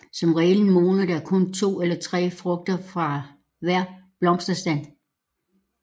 Som regel modner der kun to eller tre frugter fra hver blomstestand